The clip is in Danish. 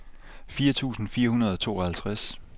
fire tusind fire hundrede og tooghalvtreds